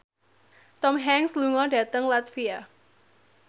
Tom Hanks lunga dhateng latvia